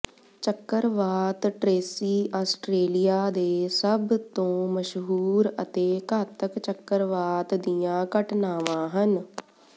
ਚੱਕਰਵਾਤ Tracy Australia ਦੇ ਸਭ ਤੋਂ ਮਸ਼ਹੂਰ ਅਤੇ ਘਾਤਕ ਚੱਕਰਵਾਤ ਦੀਆਂ ਘਟਨਾਵਾਂ ਹਨ